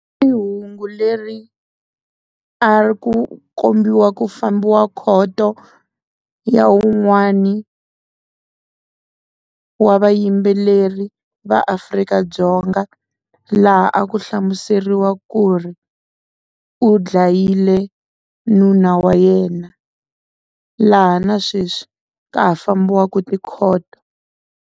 I hungu leri a ri ku kombiwa ku fambiwa khoto ya wun'wani wa vayimbeleri va Afrika-Dzonga laha a ku hlamuseriwa ku ri u dlayile nuna wa yena laha na sweswi ka ha fambiwaka tikhoto.